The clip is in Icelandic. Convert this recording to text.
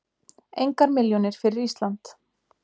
Engar milljónir fyrir Ísland